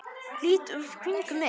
Lít í kringum mig.